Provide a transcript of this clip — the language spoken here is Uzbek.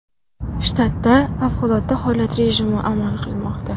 Shtatda favqulodda holat rejimi amal qilmoqda.